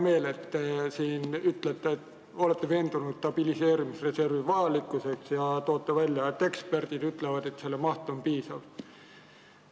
Mul on hea meel, et te olete veendunud stabiliseerimisreservi vajalikkuses ja toote välja, et eksperdid ütlevad, et selle maht on piisav.